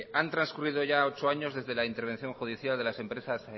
han transcurrido ya ocho años desde la intervención judicial de las empresas